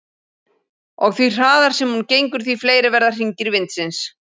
Og því hraðar sem hún gengur því fleiri verða hringir vindsins.